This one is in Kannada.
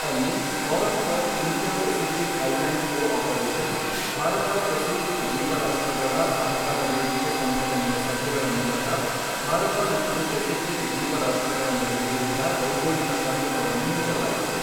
ಅಲ್ಲಿ Forum for India Pacific Islands Cooperation Bharat Pacific ದ್ವೀಪರಾಷ್ಟ್ರಗಳ ಸಹಕಾರ ವೇದಿಕೆ ಸಂಘಟನೆಯ ಸಭೆಗಳ ಮೂಲಕ ಭಾರತ ಮತ್ತು ಪೆಸಿಫಿಕ್ ದ್ವೀಪರಾಷ್ಟ್ರಗಳ ನಡುವೆ ಇದ್ದ ಭೌಗೋಳಿಕ ಕಂದಕವನ್ನು ಮುಚ್ಚಲಾಯಿತು.